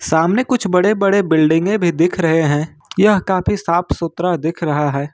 सामने कुछ बड़े-बड़े बिल्डिंगें भी दिख रहे है यह काफी साफ-सुथरा दिख रहा है।